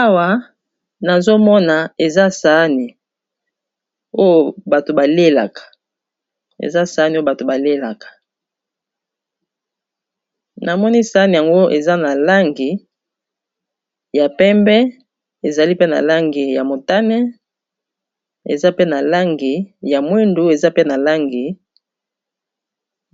Awa nazomona eza saani oyo bato balelaka, na moni saani yango eza na langi ya pembe, ezali pe na langi ya motane, eza pe na langi ya mwindu, eza pe na langi